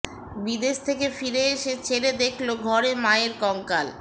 বিদেশ থেকে ফিরে এসে ছেলে দেখল ঘরে মায়ের কঙ্কাল